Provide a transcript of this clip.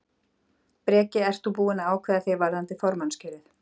Breki: Ert þú búinn að ákveða þig varðandi formannskjörið?